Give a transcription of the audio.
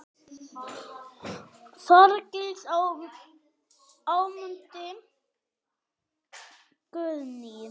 Þorgils og Ámundi Guðni.